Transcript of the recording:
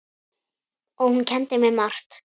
Og hún kenndi mér margt.